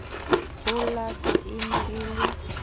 olato e ne e le